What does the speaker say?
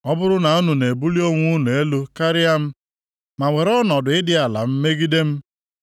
Ọ bụrụ na unu na-ebuli onwe unu elu karịa m, ma were ọnọdụ ịdị ala m megide m,